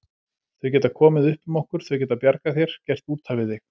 Þau geta komið upp um okkur, þau geta bjargað þér, gert útaf við þig.